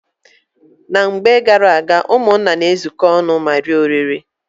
Na mgbe garaaga, ụmụnna na-ezuko ọnụ ma rie oriri.